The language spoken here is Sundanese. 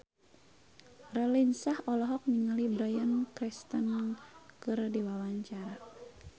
Raline Shah olohok ningali Bryan Cranston keur diwawancara